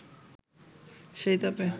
সেই তাপে